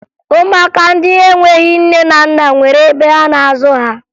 Ụmụaka ndị enweghi nne na nna nwere ebe a na-azụ ha